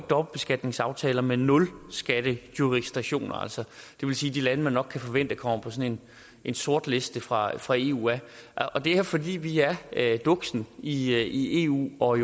dobbeltbeskatningsaftaler med nulskatjurisdiktioner det vil sige de lande man nok kan forvente kommer på sådan en sortliste fra fra eu og det er fordi vi er duksen i eu og